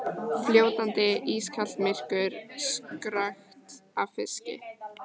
Fljótandi, ískalt myrkur, krökkt af fiski.